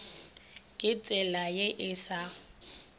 ka tsela ye e sa